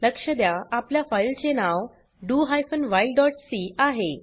लक्ष द्या आपल्या फाइल चे नाव do hyphen while dot C आहे